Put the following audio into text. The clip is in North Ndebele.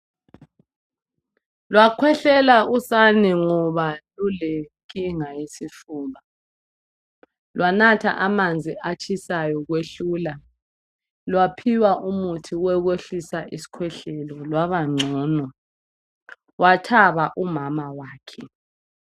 Lwakhwehlela usane ngoba lulenkinga yesifuba. Lwanatha amanzi atshisayo kwehlula. Lwaphiwa umuthi okwehlisa isikhwehlela lwaba ngcono. Wathaba umama wakhe.